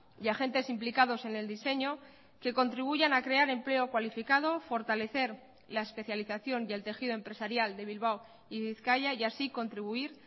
y agentes implicados en el diseño que contribuyan a crear empleo cualificado fortalecer la especialización y el tejido empresarial de bilbao y bizkaia y así contribuir